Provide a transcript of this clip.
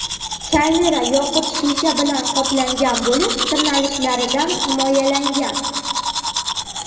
Kamera yoqut shisha bilan qoplangan bo‘lib, tirnalishlardan himoyalangan.